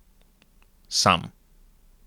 Sam.